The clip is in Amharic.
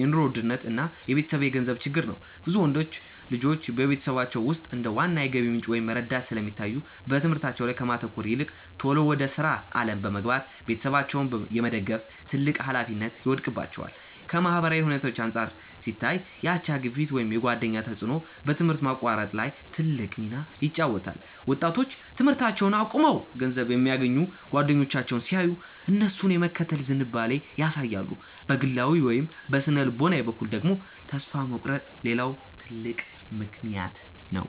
የኑሮ ውድነት እና የቤተሰብ የገንዘብ ችግር ነው። ብዙ ወንዶች ልጆች በቤተሰቦቻቸው ውስጥ እንደ ዋና የገቢ ምንጭ ወይም ረዳት ስለሚታዩ፣ በትምህርታቸው ላይ ከማተኮር ይልቅ ቶሎ ወደ ሥራ ዓለም በመግባት ቤተሰባቸውን የመደገፍ ትልቅ ኃላፊነት ይወድቅባቸዋል። ከማህበራዊ ሁኔታዎች አንጻር ሲታይ፣ የአቻ ግፊት ወይም የጓደኛ ተጽዕኖ በትምህርት ማቋረጥ ላይ ትልቅ ሚና ይጫወታል። ወጣቶች ትምህርታቸውን አቁመው ገንዘብ የሚያገኙ ጓደኞቻቸውን ሲያዩ፣ እነሱን የመከተል ዝንባሌ ያሳያሉ። በግላዊ ወይም በሥነ-ልቦና በኩል ደግሞ፣ ተስፋ መቁረጥ ሌላው ትልቅ ምክንያት ነው።